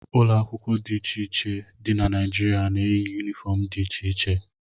Ụlọ akwụkwọ dị iche iche dị na Naịjirịa na-eyi yunifọm dị iche iche.